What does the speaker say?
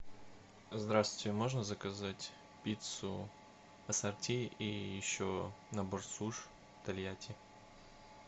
здравствуйте можно заказать пиццу ассорти и еще набор суш тольятти